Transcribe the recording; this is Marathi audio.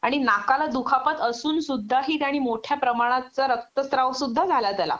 आणि नाकाला दुखापत असूनसुद्धाही त्याने मोठ्या प्रमाणाचा रक्तस्त्राव सुद्धा झाला त्याला